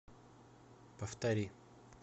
повтори